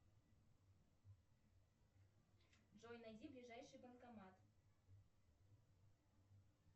джой найди ближайший банкомат